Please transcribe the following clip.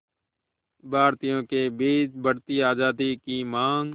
भारतीयों के बीच बढ़ती आज़ादी की मांग